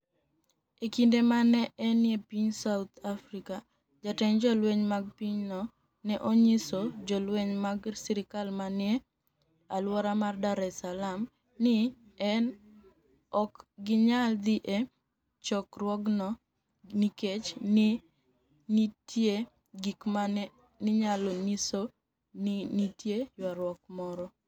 E kinide ma ni e eni e piniy South Africa, jatend jolweniy mag piny no ni e oniyiso jolweniy mag sirkal ma ni e nii e alwora mar Dar es Salaam nii ni e ok giniyal dhi e chokruogno niikech ni e niitie gik ma ni e niyalo niyiso nii niitie ywaruok moro.